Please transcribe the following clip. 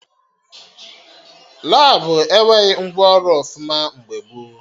Labụ enweghị ngwa ọrụ ọfụma mgbe gboo